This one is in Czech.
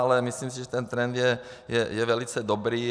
Ale myslím si, že ten trend je velice dobrý.